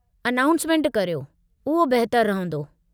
Announcement करियो, उहो बेहतरु रहिंदो।